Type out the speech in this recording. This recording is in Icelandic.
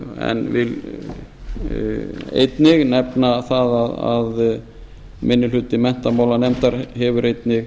en vil einnig nefna það að minni hluti menntamálanefndar hefur einnig